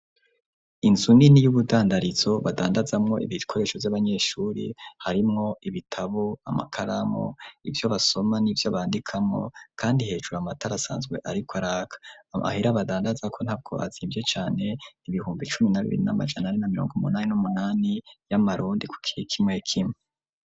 Inzu nini yubudandarizwamwo ibikoresho y'abanyeshuri harimwo ibitabo amakaramu ibyo basoma n'ibyo bandikamo kandi hejura amatari asanzwe ariko arak aahera badandaza ko ntabwo azimvye cane ibihumbi cumi na bibiri n'amajanari na mirongo munani n'umunani y'amarondi kuri buri kimwe.